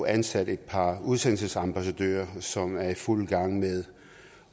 ansat et par udsendelsesambassadører som er i fuld gang med